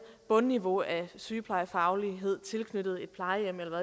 bundniveau af sygeplejefaglighed tilknyttet et plejehjem eller